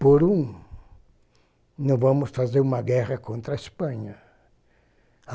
Por um, não vamos fazer uma guerra contra a Espanha.